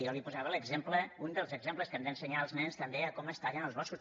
jo li posava un dels exemples que hem d’ensenyar als nens també com es tallen els boscos